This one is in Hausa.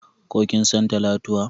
Ko kin san Talatuwa?